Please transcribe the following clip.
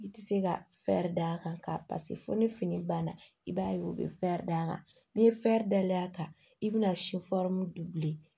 I tɛ se ka d'a kan paseke fɔ ni fini banna i b'a ye u bɛ d'a kan n'i ye day'a kan i bɛna bilen